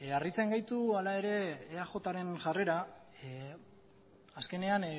harritzen gaitu hala ere eajren jarrera azkenean